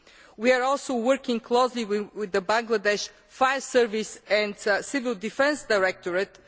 We are also working closely with the Bangladesh Fire Service and Civil Defence Directorate.